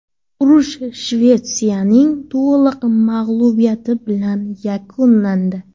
Urush Shvetsiyaning to‘liq mag‘lubiyati bilan yakunlandi.